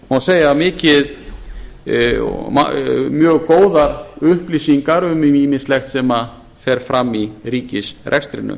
má segja miklar og mjög góðar upplýsingar um ýmislegt sem fer fram í ríkisrekstrinum